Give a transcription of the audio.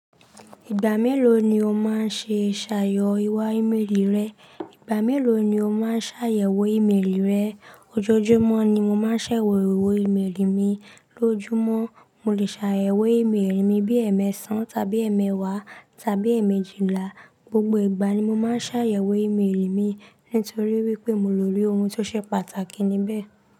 Ìgbà mélòó ni o máa ń ṣe sààyo iwà ímélì rẹ? Ìgbà mélòó ni o máa ń ṣàyẹ̀wò ímélì rẹ? Ojoojúmọ́ ni mo máa ń ṣàyẹ̀wò ímélì mi. Lójúmọ́, mo lè ṣàyẹ̀wò ímélì mi bí ẹ̀ẹ̀mẹ́ṣàn tàbí ẹ̀ẹ̀mẹ́wàá tàbí ẹ̀ẹ̀mẹ́jìlá. Gbogbo ìgbà ni mo máa ń ṣàyẹ̀wò ímélì mi nítorí wípé mo lerí ohun tó ṣe pàtàkì níbẹ̀.